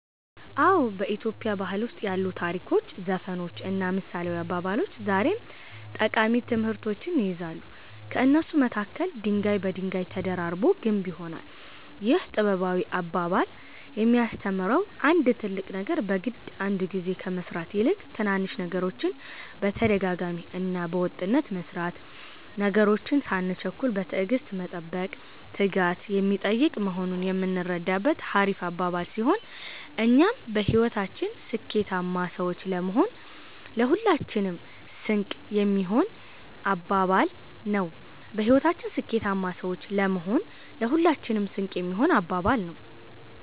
አዎ፣ በኢትዮጵያ ባህል ውስጥ ያሉ ታሪኮች፣ ዘፈኖች እና ምሳሌያዊ አባባሎች ዛሬም ጠቃሚ ትምህርቶችን ይይዛሉ። ከእነሱ መካከል፦" ድንጋይ በድንጋይ ተደራርቦ ግንብ ይሆናል"ይህ ጥበባዊ አባባል የሚያስተምረው አንድ ትልቅ ነገር በግድ አንድ ግዜ ከመስራት ይልቅ ትናንሽ ነገሮችን በተደጋጋሚ እና በወጥነት መስራት፣ ነገሮችን ሳንቸኩል በትዕግስት መጠበቅ፣ ትጋት የሚጠይቅ መሆኑን የምንረዳበት ሀሪፍ አባባል ሲሆን እኛም በህይወታችን ስኬታማ ሰዎች ለመሆን ለሁላችንም ስንቅ የሚሆን አባባል ነው።